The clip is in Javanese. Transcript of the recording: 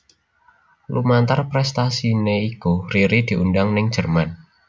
Lumantar prestasiné iku Riri diundang ning Jerman